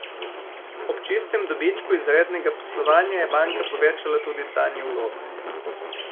Ob čistem dobičku iz rednega poslovanja je banka povečala tudi stanje vlog.